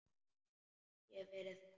Ég hef verið þar.